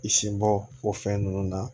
I sinbɔ o fɛn nunnu na